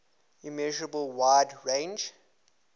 immeasurable wide range